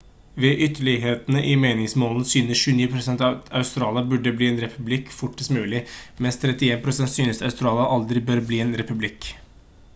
ved ytterlighetene i meningsmålingen synes 29 % at australia burde bli en republikk fortest mulig mens 31 % synes australia aldri bør bli en republikk